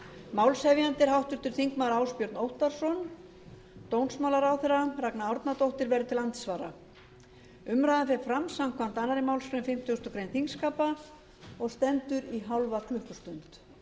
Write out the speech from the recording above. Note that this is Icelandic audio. málshefjandi er háttvirtir þingmenn ásbjörn óttarsson dómsmálaráðherra ragna árnadóttir verður til andsvara umræðan fer fram samkvæmt annarri málsgrein fimmtugustu grein þingskapa og stendur í hálfa klukkustund